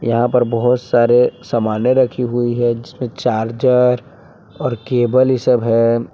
यहां पर बहुत सारे सामानें रखी हुई है जिसमें चार्जर और केबल ये सब है।